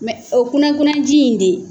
o kunna kunna ji in de